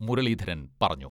മുരളീധരൻ പറഞ്ഞു.